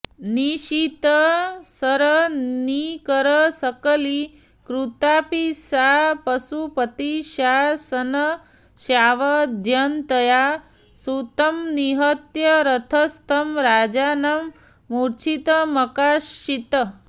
निशितशरनिकरशकलीकृतापि सा पशुपतिशासनस्यावन्ध्यतया सूतं निहत्य रथस्थं राजानं मूर्छितमकार्षीत्